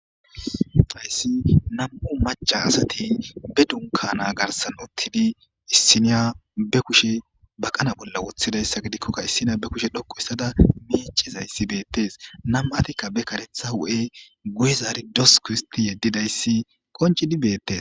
Hayssi nam'u macca asati ba dunkana garsan uttidi issina be kushe baqana bolla woththidayssa gidikoka issina be kushe dhoqqu histada miicizayssi beetees nam'tikka be kareththa huphen guye zaaridi dosku histti yedidayssi qonccidi beetees.